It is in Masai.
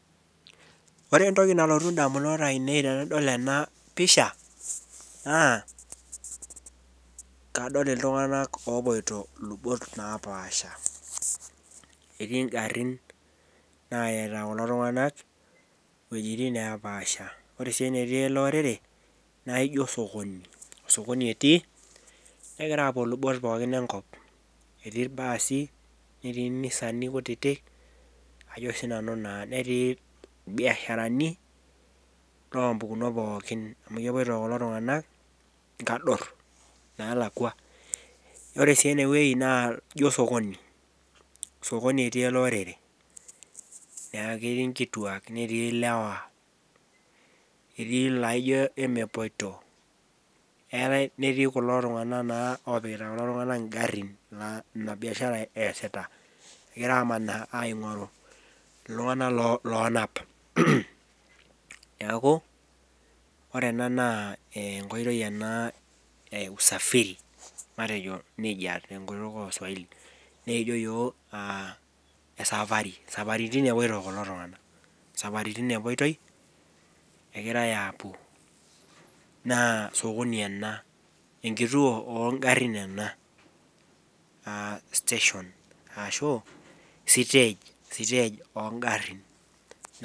ore entoki nalotu idamunot ainei tenadol ena pisha naa kadolta iltung'anak oopuito, etii igarin naita kulo tung'anak iwejitin neepaasha ore ene netii ele orere naa ijo sokoni osokoni etii, negira apuo ilubot pookin enkop , etii ilbaasi, etii inisani kutitik, netii itung'anak loo kabilaritin pooki amu kepuito kulo tung'anak inkador naa lakua, ore sii eneweji naa ijo sokoni sokoni etii ele orere, naa ketii ilewa, netii inkituak, etii ilaijo emepuoito, netii kulo tung'anak naa opikita kulo tung'anak igarin, ina biashara esita egira aing'oru iltung'anak oonap, neeku ore ena naa enkoitoi ena e usafiri, nejia tenkutuk oo swahili naa ekijo iyiok esapari isaparitin epoito kulo tung'anak isaparitin epuoitoi, naa sokoni ena enkituoo oo igarin ena aa station ashuu siteej oo igarin.